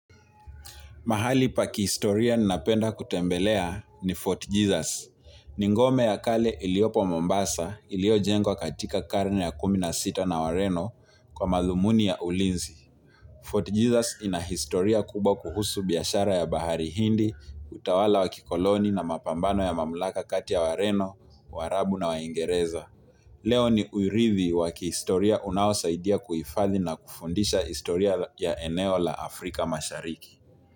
Mahali pa kihistoria ninapenda kutembelea ni Fort Jesus. Ni ngome ya kale iliyopo Mombasa, iliyo jengwa katika karne ya kumi na sita na wareno kwa madhumuni ya ulinzi. Fort Jesus ina historia kubwa kuhusu biashara ya bahari hindi, utawala wa kikoloni na mapambano ya mamlaka kati ya wareno, warabu na waingereza. Leo ni urithi wa kihistoria unaosaidia kuhifathi na kufundisha historia ya eneo la Afrika mashariki.